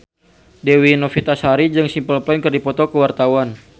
Dewi Novitasari jeung Simple Plan keur dipoto ku wartawan